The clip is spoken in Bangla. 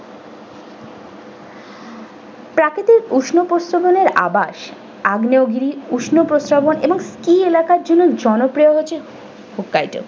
প্রাকৃতিক উষ্ণপ্রস্রবনের আবাস আগ্নেয়গিরি উষ্ণপ্রসবন এবং ski এলাকার জন্য জনপ্রিয় হচ্ছে okay do ।